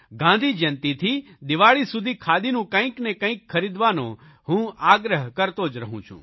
ગાંધી જયંતીથી દિવાળી સુધી ખાદીનું કંઇક ને કંઇક ખરીદવાનો હું આગ્રહ કરતો જ રહું છું